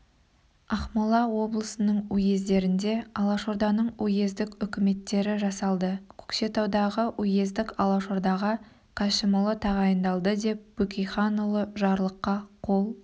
ақмола облысының уездерінде алашорданың уездік үкіметтері жасалды көкшетаудағы уездік алашордаға кәшімұлы тағайындалды деп бөкейханұлы жарлыққа қол